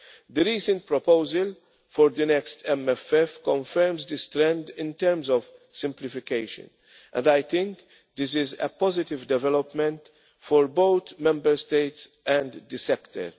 The recent proposal for the next MFF confirms this trend in terms of simplification, and I think this is a positive development for both Member States and the sector.